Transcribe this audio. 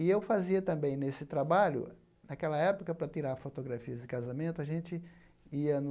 E eu fazia também nesse trabalho, naquela época, para tirar fotografias de casamento, a gente ia no...